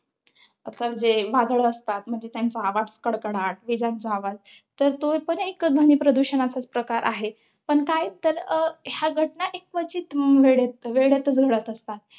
आता जे वादळं असतात. म्हणजे त्यांचा आवाज कडकडाट. विजांचा आवाज. तर तो पण एक ध्वनीप्रदूषणाचाच एक प्रकार आहे. पण काय तर ह्या घटना एक क्वचित वेळेत~ वेळेत घडत असतात.